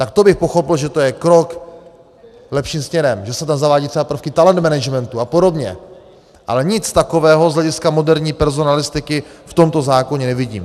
Tak to bych pochopil, že to je krok lepším směrem, že se tam zavádějí třeba prvky talent managementu a podobně, ale nic takového z hlediska moderní personalistiky v tomto zákoně nevidím.